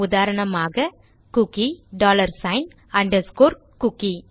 உதாரணமாக cookie dollar sign underscore cookie